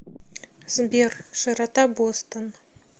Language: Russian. сбер широта бостон